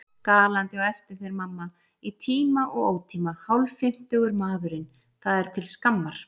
Galandi á eftir þér mamma! í tíma og ótíma, hálffimmtugur maðurinn, það er til skammar.